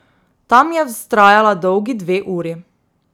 Tam je vztrajala dolgi dve uri.